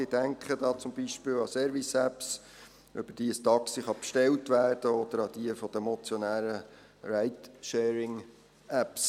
Ich denke da beispielsweise an Service-Apps, über die ein Taxi bestellt werden kann oder an die von den Motionären erwähnten Ride-Sharing-Apps.